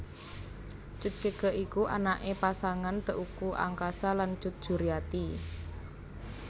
Cut Keke iku anaké pasangan Teuku Angkasa lan Cut Juriati